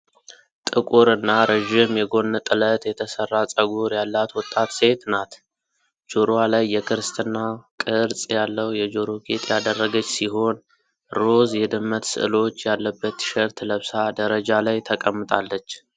ጥቁር እና ረዥም የጎን ጥለት የተሠራ ፀጉር ያላት ወጣት ሴት ናት። ጆሮዋ ላይ የክርስትና ቅርጽ ያለው የጆሮ ጌጥ ያደረገች ሲሆን፣ ሮዝ የድመት ስዕሎች ያለበት ቲሸርት ለብሳ ደረጃ ላይ ተቀምጣለች።